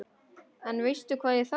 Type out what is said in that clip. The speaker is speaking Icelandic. En veistu hvað ég þarf.